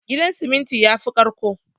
Gidan siminti yafi ƙarƙko